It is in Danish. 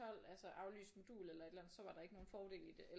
12 altså aflyst modul eller et eller andet så var der ikke nogen fordel i det